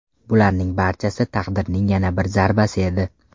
Bularning barchasi taqdirning yana bir zarbasi edi.